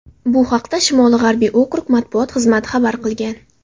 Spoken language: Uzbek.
Bu haqda Shimoli-g‘arbiy okrug matbuot xizmati xabar qilgan.